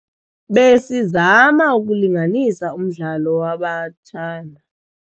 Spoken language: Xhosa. Besizama ukulinganisa umdlalo wabatshana